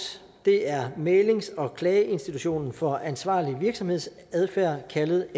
det er mæglings og klageinstitutionen for ansvarlig virksomhedsadfærd kaldet